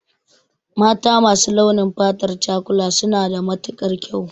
Mata masu launin fatar cakula suna da matukar kyau